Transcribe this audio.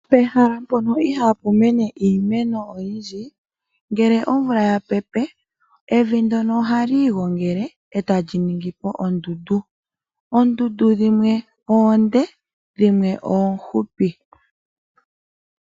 Pehala mpona ihaapu mene iimeno oyindji, ombepo ngele ya pepe evi ohali igongele e ta li ningi oondundu. Oondundu dhimwe oonde dho dhimwe oofupi.